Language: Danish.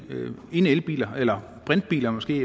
ene elbiler eller brintbiler måske